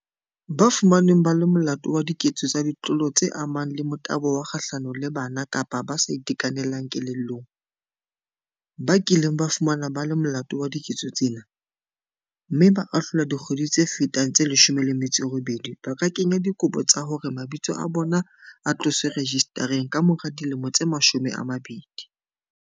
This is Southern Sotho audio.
Ba fumanweng ba le molato wa diketso tsa ditlolo tse amanang le motabo kga hlano le bana kapa ba sa itekanelang kelellong, ba kileng ba fumanwa ba le molato wa diketso tsena, mme ba ahlolwa dikgwedi tse fetang tse 18 ba ka kenya dikopo tsa hore mabitso a bona a tloswe rejistareng kamora dilemo tse 20.